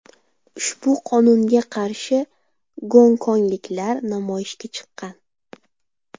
Ushbu qonunga qarshi gonkongliklar namoyishga chiqqan.